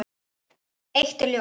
Eitt er ljóst.